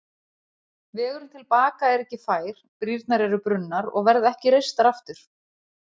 Vegurinn til baka er ekki fær, brýrnar eru brunnar og verða ekki reistar aftur.